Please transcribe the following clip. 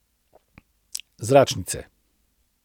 Zračnice.